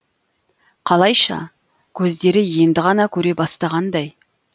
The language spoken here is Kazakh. қалайша көздері енді ғана көре бастағандай